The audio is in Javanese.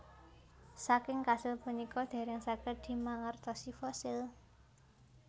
Saking kasil punika dèrèng saged dimangertosi fosil